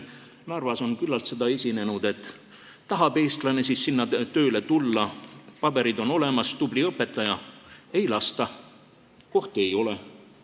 Narvas on küllalt esinenud seda, et tahab eestlane tööle minna, paberid on olemas, ta on tubli õpetaja, aga ei lasta, kohti ei ole.